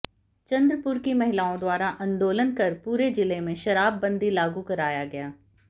चन्द्रपुर की महिलाओं द्वारा आन्दोलन कर पूरे जिले में शराबबंदी लागू कराया गया